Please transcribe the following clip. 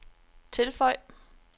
tilføj